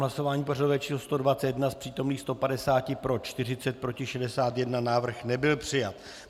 Hlasování pořadové číslo 121, z přítomných 150 pro 40, proti 61, návrh nebyl přijat.